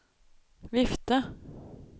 vifte